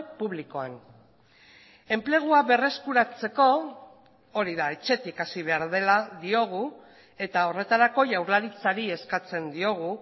publikoan enplegua berreskuratzeko hori da etxetik hasi behar dela diogu eta horretarako jaurlaritzari eskatzen diogu